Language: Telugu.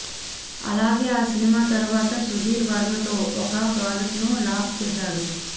అలాగే ఆ సినిమా తరువాత సుధీర్ వర్మతో ఒక ప్రాజెక్ట్ను లాక్ చేశాడు